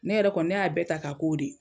Ne yɛrɛ kɔni ne y'a bɛɛ ta ka k'o de ye